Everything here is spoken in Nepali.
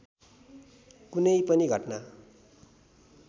कुनै पनि घटना